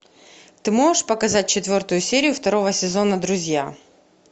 ты можешь показать четвертую серию второго сезона друзья